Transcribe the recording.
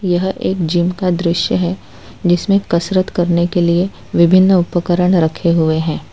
यह एक जिम का दृश्य है जिसमें कसरत करने के लिए विभिन्न उपकरण रखे हुए हैं।